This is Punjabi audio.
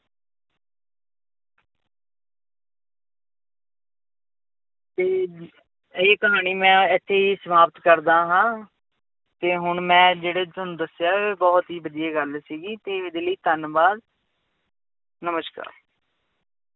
ਤੇ ਇਹ ਕਹਾਣੀ ਮੈਂ ਇੱਥੇ ਹੀ ਸਮਾਪਤ ਕਰਦਾ ਹਾਂ ਤੇ ਹੁਣ ਮੈਂ ਜਿਹੜੇ ਤੁਹਾਨੂੰ ਦੱਸਿਆ ਬਹੁਤ ਹੀ ਵਧੀਆ ਗੱਲ ਦੱਸੀ ਸੀ ਤੇ ਇਹਦੇ ਲਈ ਧੰਨਵਾਦ ਨਮਸ਼ਕਾਰ।